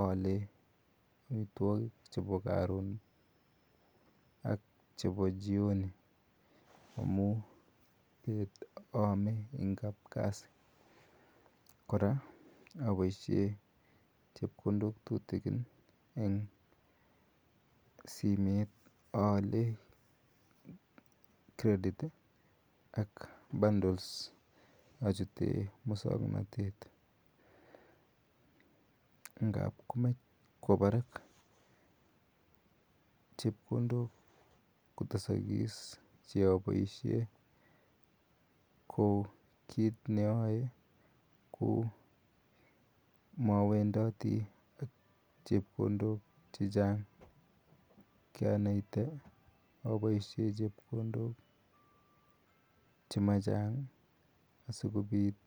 aale amitwagiik chebo karoon ak chebo jioni amuun aame en kapkazi kora aboisheen chepkondook tutukiin eng simeet aale [credit] ii ak [bundles] achutee musangnatet ngaap komaach kwaa barak chepkondook kotesakis chepkondook kouu kit ne ayae ko mawendati ak chepkondook che chaang kianatiei aboisheen chepkondook che maa chaang asikobiit